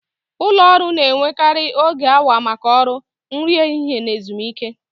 Ụlọ ọrụ na-enwekarị oge awa maka ọrụ, nri ehihie na ezumike.